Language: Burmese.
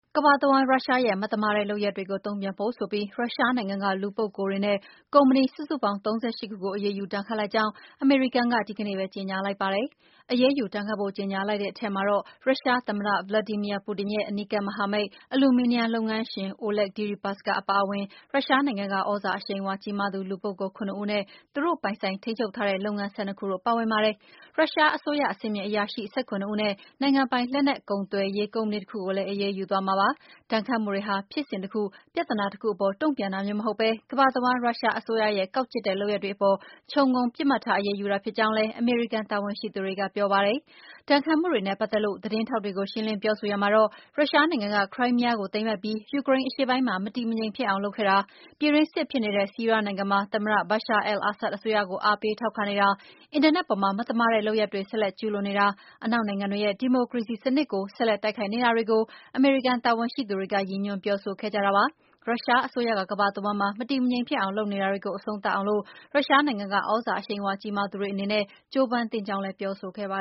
ကမ္ဘာတဝန်း ရုရှားရဲ့ မသမာတဲ့လုပ်ရပ်တွေကို တုံ့ပြန်ဖို့ဆိုပြီး ရုရှားနိုင်ငံက လူပုဂ္ဂိုလ်တွေနဲ့ ကုမ္ပဏီ စုစုပေါင်း ၃၈ ခုကို အရေးယူ ဒဏ်ခတ်လိုက်ကြောင်း အမေရိကန်က ဒီနေ့ပဲ ကြေညာလိုက်ပါတယ်။ အရေးယူ ဒဏ်ခတ်ဖို့ ကြေညာလိုက်တဲ့ အထဲမှာတော့ ရုရှားသမ္မတ Vladimir Putin ရဲ့ အနီးကပ်မဟာမိတ် အလျုမီနီယံလုပ်ငန်းရှင် Oleg Deripaska အပါအဝင် ရုရှားနိုင်ငံက သြဇာအရှိန်အဝါ ကြီးမားသူ လူပုဂ္ဂိုလ် ၇ ဦးနဲ့ သူတို့ပိုင်ဆိုင် ထိန်းချုပ်ထားတဲ့ လုပ်ငန်း ၁၂ ခုတို့ ပါဝင်ပါတယ်။ ရုရှားအစိုးရ အဆင့်မြင့်အရာရှိ ၁၇ ဦးနဲ့ နိုင်ငံပိုင် လက်နက်ကုန်သွယ်ရေး ကုမ္ပဏီတခုကိုလည်း အရေးယူသွားမှာပါ။ ဒဏ်ခတ်မှုတွေဟာ ဖြစ်စဉ်တခု၊ ပြဿနာတခုအပေါ် တုံ့ပြန်တာမျိုး မဟုတ်ဘဲ၊ ကမ္ဘာတဝန်း ရုရှားအစိုးရရဲ့ ကောက်ကျစ်တဲ့ လုပ်ရပ်တွေအပေါ် ချုံငုံပစ်မှတ်ထား အရေးယူတာ ဖြစ်ကြောင်းလည်း အမေရိကန် တာဝန်ရှိသူတွေက ပြောပါတယ်။ ဒဏ်ခတ်မှုတွေနဲ့ ပတ်သက်လို့ သတင်းထောက်တွေကို ရှင်းလင်းပြောဆိုရာမှာတော့ ရုရှားနိုင်ငံက ခရိုင်းမီးယားကို သိမ်းပိုက်ပြီး ယူကရိန်းအရှေ့ပိုင်းမှာ မတည်မငြိမ်ဖြစ်အောင် လုပ်ခဲ့တာ၊ ပြည်တွင်းစစ်ဖြစ်နေတဲ့ ဆီးရီးယားနိုင်ငံမှာ သမ္မတ Bashar al-Assad အစိုးရကို အားပေးထောက်ခံနေတာ၊ အင်တာနက်ပေါ်မှာ မသမာတဲ့ လုပ်ရပ်တွေ ဆက်လက်ကျုးလွန်နေတာ၊ အနောက်နိုင်ငံတွေရဲ့ ဒီမိုကရေစီစနစ်ကို ဆက်လက် တိုက်ခိုက်နေတာတွေကို အမေရိကန် တာဝန်ရှိသူတွေ ရည်ညွှန်းပြောဆိုခဲ့ကြတာပါ။ ရုရှားအစိုးရက ကမ္ဘာတဝန်းမှာ မတည်မငြိမ်ဖြစ်အောင် လုပ်နေတာတွေကို အဆုံးသတ်အောင် ရုရှားနိုင်ငံက သြဇာအရှိန်အဝါ ကြီးမားသူတွေ အနေနဲ့ ကြိုးပမ်းသင့်ကြောင်းလည်း ပြောဆိုခဲ့ပါ